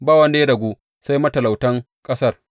Ba wanda ya ragu, sai matalautan ƙasar.